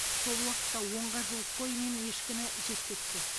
сол уақытта онға жуық қой мен ешкіні жеп кетті